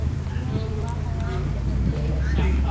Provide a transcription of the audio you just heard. Riyadu waa xayawaan jecel.